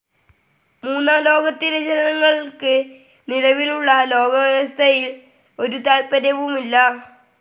മൂന്നാം ലോകത്തിലെ ജനങ്ങൾക്ക് നിലവിലുള്ള ലോകവ്യവസ്ഥിതിയിൽ ഒരു താൽപര്യവുമില്ല.